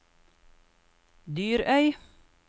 Dyrøy